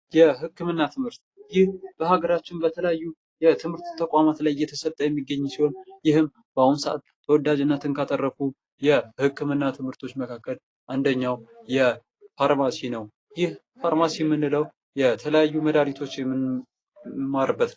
የህክምና ትምህርት ይህ በሀገራችን በተለያዩ የትምህርት ተቋማት እየተሰጠ የሚገኝ ሲሆን ይህም በአሁኑ ሰአት ተወዳጅነትን ካተረፉ የህክምና ትምህርቶች መካከል አንደኛው የፋርማሲ ነው። ይህ ፋርማሲ የምንለው የተለያዩ መድኃኒቶችን የምንማርበት ነው።